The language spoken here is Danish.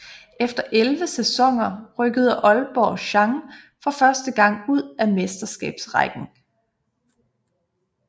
Efter 11 sæsoner rykkede Aalborg Chang for første gang ud af Mesterskabsrækken